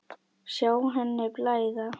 Sjá henni blæða.